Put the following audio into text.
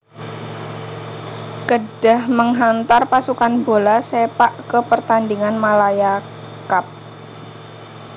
Kedah menghantar pasukan bola sepak ke pertandingan Malaya Cup